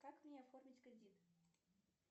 как мне оформить кредит